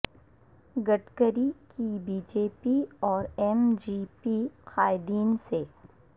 گڈکری کی B J P اور M G P قائدین سے